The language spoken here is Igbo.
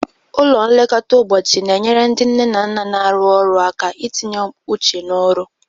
Ụlọ nlekọta ụbọchị na-enyere ndị nne na nna na-arụ ọrụ aka itinye uche n'ọrụ.